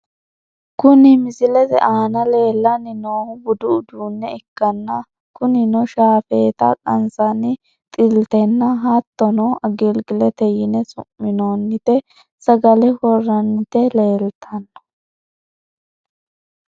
Kuni misilete aana leellanni noohu budu uduunne ikkanna , kunino shaafeeta qansanni xiltinna , hattono agilgilete yine su'minooniti sagale worranniti leeltanno.